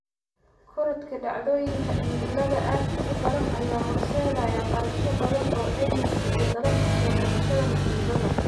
Korodhka dhacdooyinka cimilada aadka u daran ayaa horseedaya kharashyo badan oo caymiska iyo dadaalka soo kabashada musiibada.